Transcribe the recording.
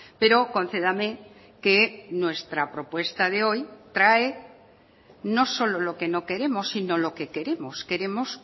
pero concédame que nuestra propuesta de hoy trae no solo lo que no queremos sino lo que queremos queremos